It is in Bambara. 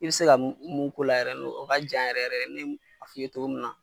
I be se ka mun mun k'o la n'o yɛrɛ n'o o ka jan yɛrɛ yɛrɛ ne ye mun f'i ye ogo mun na